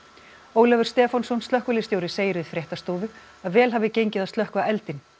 Ólafur Stefánsson slökkviliðsstjóri segir við fréttastofu að vel hafi gengið að slökkva eldinn